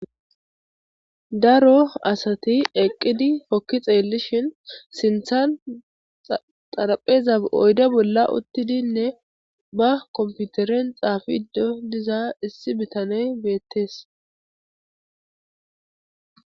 daro asati eqqidi hokki xeellishin sinthan xarapheza oyde bolla uttidinne ba komputeren xaafiddo diza issi bitaney beettees